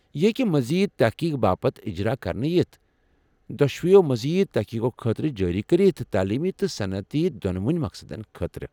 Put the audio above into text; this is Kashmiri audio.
یہِ ہیکہِ مزید تحقیق باپت اِجرا كرنہٕ یِتھ ، دۄشویو مزید تحقیقو خأطرٕ جاری کرِتھ، تعلیمی تہٕ صنعتی دۄنوٕنی مقصدن خأطرٕ۔